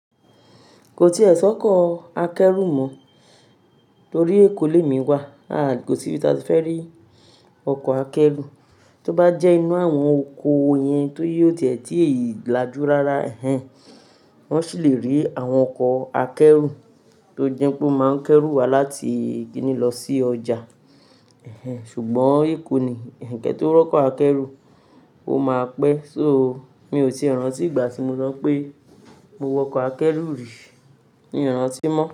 Ko ti e si oko akeru mọ, tori eEko lemi wa. Aá, kò sí ibi tí a ti fẹ́ rí ọkọ̀ akẹ́rù. Ti o ba je inu àwọn oko yen ti won o tie ti last rara ehnhen. Wọ́n sì lè rí àwọn ọkọ̀ akẹ́rù tó jẹ́ pé ó máa ń kẹ́rù wa láti ki ni lọ sí ọjà. Ẹ̀hhẹ̀n, ṣùgbọ́n Èkó ni, kẹ́ tó rọ́kọ̀ akẹ́rù, ó máa pẹ́. So, mi ò tíì rántí ìgbà tí mo so wi pé mo wọkọ̀ akẹ́rù rí. Mi ò rántí mọ́